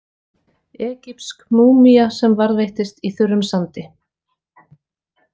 Egypsk múmía sem varðveittist í þurrum sandi.